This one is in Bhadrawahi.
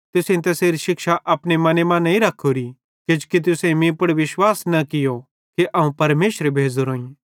तुसेईं तैसेरी शिक्षा अपने मने मां नईं रख्खोरी किजोकि तुसेईं मीं पुड़ विश्वास न कियो कि अवं परमेशरे भेज़ोरोईं